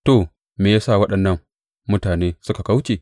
To, me ya sa waɗannan mutane suka kauce?